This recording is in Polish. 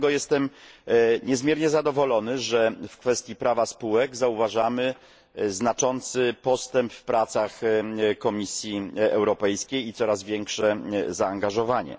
Dlatego jestem niezmiernie zadowolony, że w kwestii prawa spółek zauważamy znaczący postęp w pracach Komisji Europejskiej i coraz większe zaangażowanie.